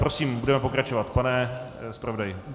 Prosím, budeme pokračovat, pane zpravodaji.